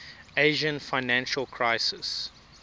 asian financial crisis